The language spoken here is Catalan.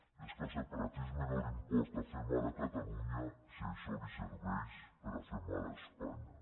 i és que al separatisme no li importa fer mal a catalunya si això li serveix per fer mal a espanya